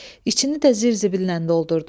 İçini də zır-zıbillə doldurdu.